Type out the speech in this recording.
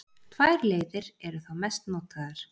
tvær leiðir eru þá mest notaðar